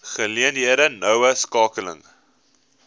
geleenthede noue skakeling